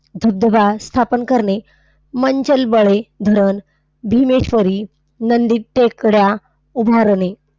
धबधबा स्थापन कारणे, मंचनबळे धरण, भीमेश्वरी, नंदी टेकड्या, उदाहरणे.